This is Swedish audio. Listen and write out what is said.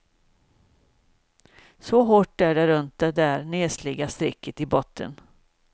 Så hårt är det runt det där nesliga strecket i botten.